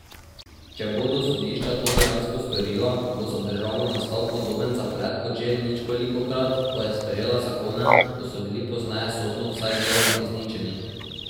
Če bodo sodišča to dejansko storila, bo za državo nastal podoben zaplet kot že ničkolikokrat, ko je sprejela zakone, ki so bili pozneje sodno vsaj deloma izničeni.